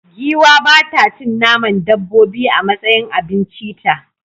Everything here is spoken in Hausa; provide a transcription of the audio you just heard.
Giwa ba ta cin naman dabbobi a matsayin abincita.